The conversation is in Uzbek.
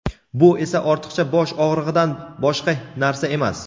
bu esa ortiqcha bosh og‘rig‘idan boshqa narsa emas.